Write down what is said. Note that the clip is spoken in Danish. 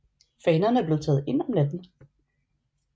Fanerne blev taget ind om natten